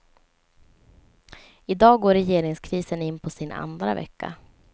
I dag går regeringskrisen in på sin andra vecka.